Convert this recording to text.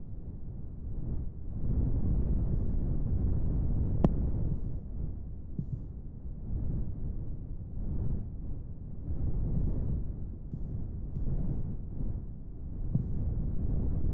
Abaaboon bu'aa biqiloota naannoo keenyaa dhaabbamanii yeroon booda miidhagina nuuf kennaniiti. Abaaboon gosoota daraaraa gosa addaa addaa kan qabu yemmuu ta'u, innis bareedinaa fi hawwatummaa naannoo dabaluu keessatti gaheen isaa olaanaadha.